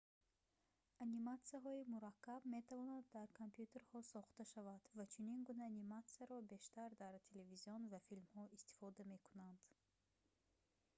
аниматсияҳои мураккаб метавонад дар компютерҳо сохта шавад ва чунин гуна аниматсияро бештар дар телевизион ва филмҳо истифода мекунанд